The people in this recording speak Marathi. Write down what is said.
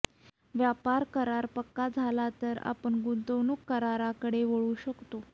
व्यापार करार पक्का झाला तर आपण गुंतवणूक कराराकडे वळू शकतो